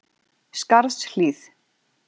Skarðshlíð